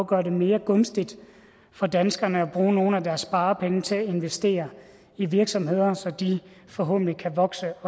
gøre det mere gunstigt for danskerne at bruge nogle af deres sparepenge til at investere i virksomheder så de forhåbentlig kan vokse